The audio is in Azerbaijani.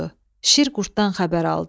Şir qurddan xəbər aldı.